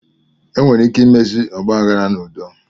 Enwere ike imezi ọgbaaghara n'udo.